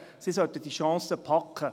Sie sollten diese Chance packen.